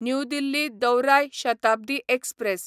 new Delhi दौराय Shatabdi express